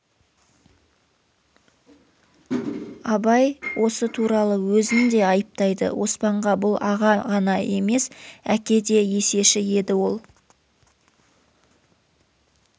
абай осы туралы өзін де айыптайды оспанға бұл аға ғана емес әке де есеші еді ол